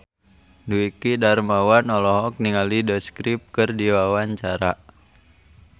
Dwiki Darmawan olohok ningali The Script keur diwawancara